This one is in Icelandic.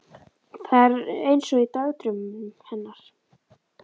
Þetta er eins og í dagdraumunum hennar.